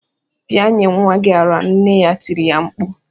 "Bia nye nwa gi ara" nne ya tiri ya mkpu.